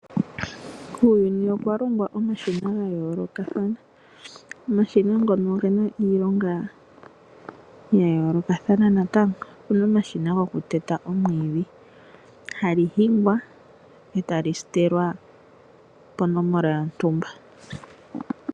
Kuuyuni okwa longwa omashina ga yoolokathana. Omashina ngono ogena iilonga ya yoolokathana natango. Okuna omashina gokuteta omwiidhi, hali hingwa e tali sitelwa ponomola yontumba.